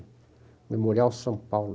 Memorial São Paulo.